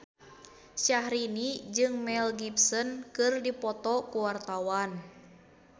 Syahrini jeung Mel Gibson keur dipoto ku wartawan